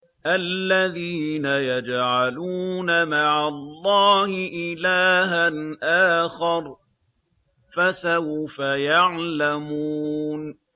الَّذِينَ يَجْعَلُونَ مَعَ اللَّهِ إِلَٰهًا آخَرَ ۚ فَسَوْفَ يَعْلَمُونَ